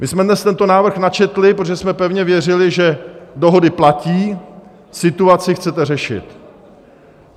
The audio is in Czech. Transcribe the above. My jsme dnes tento návrh načetli, protože jsme pevně věřili, že dohody platí, situaci chcete řešit.